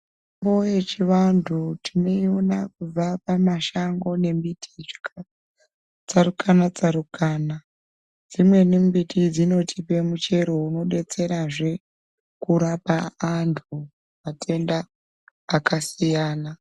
Mbo yechivantu tinoiona kubva pamashango nembiti zvakatsarukana tsarukana dzimweni mbiti dzinotidetserazve kurapa antu matenda akasiyana.